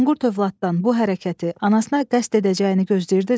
Manqurt övladdan bu hərəkəti anasına qəsd edəcəyini gözləyirdinizmi?